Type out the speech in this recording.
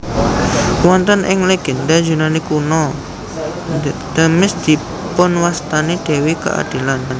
Wonten ing legénda Yunani Kuno Themis dipunwastani dewi keadilan